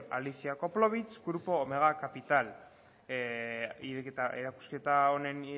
alicia koplowitz grupo omega capital erakusketa honen